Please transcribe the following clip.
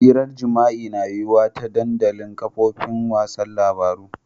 Hiran jima'i na yuwa ta dandamalin kafofin wasan labaru.